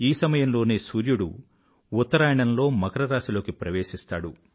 ఈ సమయంలోనే సూర్యుడు ఉత్తరాయణంలో మకరరాశిలోకి ప్రవేశిస్తాడు